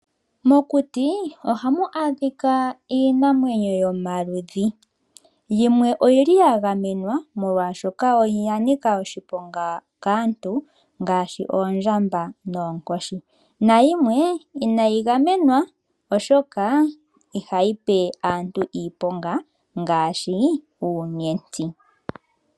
Mokuti ohamu adhika iinamwenyo yomaludhi. Yimwe oya gamenwa, molwaashoka oya nika oshiponga kaantu ngaashi oondjamba noonkoshi. Nayimwe inayi gamenwa oshoka ihayi pe aantu iiponga ngaashi uunyenti.